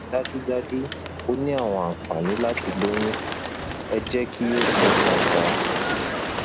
dájúdájú o ní àwọn ànfàní láti loyun ẹ jẹ kí o fọkàn tán